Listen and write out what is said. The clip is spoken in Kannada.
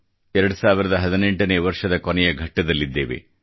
2018 ನೇ ವರ್ಷದ ಕೊನೆಯ ಘಟ್ಟದಲ್ಲಿದ್ದೇವೆ